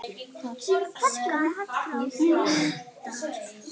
Skammt frá dundar